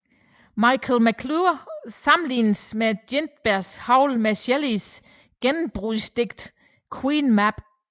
Michael McClure sammenlignede Ginsbergs Howl med Shelleys gennembrudsdigt Queen Mab